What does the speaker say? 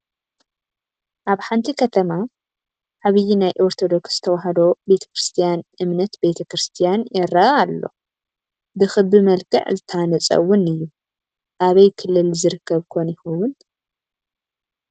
ኣብ ሓንቲ ከተማ ዓብይ ናይ ኦርቶዶክስ ተዋህዶ ቤተ ክርስትያን እምነት ቤተ ክርስትያን ይረአ ኣሎ፡፡ ብኽቢ መልክዕ ዝተሃንፀ ውን እዩ፡፡ ኣበይ ክልል ዝርከብ ኮን ይኸውን?